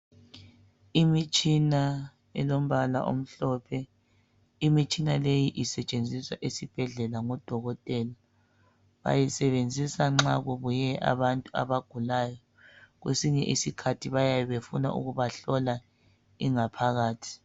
Imitshina elombala omhlophe, imitshina leyi isetshenziswa esibhedlela ngodokotela. Bayisebenzisa nxa kubuye abantu abagulayo kwesinye isikhathi bayabe befuna ukubahlola ingaphakathi.